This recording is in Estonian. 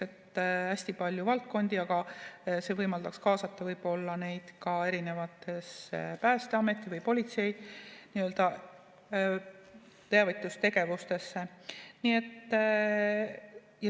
On hästi palju valdkondi, see võimaldaks kaasata võib-olla neid ka erinevatesse Päästeameti või politsei teavitustegevustesse.